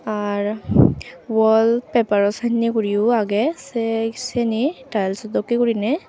ar wall paper sannye gurineyo agey se sini tiles dokken gurinei.